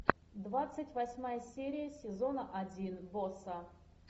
двадцать восьмая серия сезона один босса